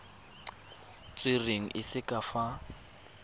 tserweng e se ka fa